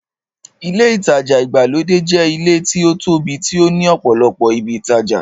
Ilé ìtajà ìgbàlódé jẹ́ ilé tí ó tóbi tí ó ní ọ̀pọ̀lọpọ̀ ibi ìtajà.